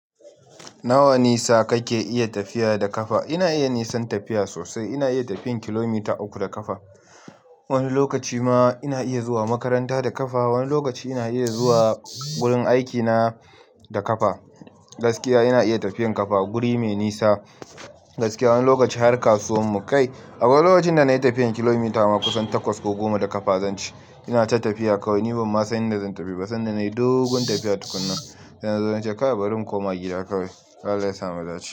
Nawa nisa kake iya tafiya da ƙafa? Ina iya nisan tafiya sosai. Ina iya tafiyan kilomita uku da ƙafa. Wani lokaci ma ina iya zuwa makaranta da ƙafa. Wani lokaci ina iya zuwa wurin aikina da ƙafa. Gaskiya ina iya tafiyan ƙafa guri mai nisa. Gaskiya wani lokaci har kasuwarmu kai. Akwai lokacin da na yi tafiyan kilomita ma kusan takwas ko goma da ƙafa zan ce. Ina ta tafiya kawai. Ni ban ma san inda zan tafi ba sanda na yi dogon tafiya tukuna. Da na zo na ce kawai bari in koma gida kawai. Allah ya sa mu dace.